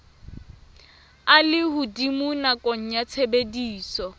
a lehodimo nakong ya tshebediso